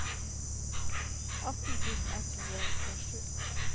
atten tusen ett hundre og tjuesju